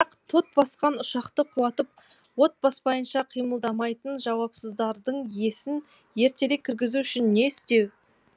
бірақ тот басқан ұшақты құлатып от баспайынша қимылдамайтын жауапсыздардың есін ертерек кіргізу үшін не істеу